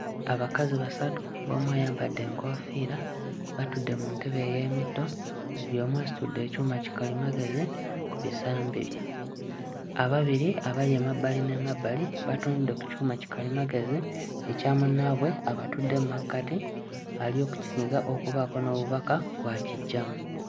Abakazi basatu ng'omu ayambadde enkoofiira batudde mu ntebe ey'emitto buli omu asitudde ekyuma kikalimagezi ku bisambi bye. Ababiri abali emabbali n'emabbali batunudde ku kyuma kikalimagezi ekya munnaabwe abatudde mmakkati ali okukinyiga okubaako n'obubaka bw'akiggyamu.